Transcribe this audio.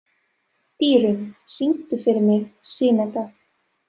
Dýrunn, syngdu fyrir mig „Syneta“.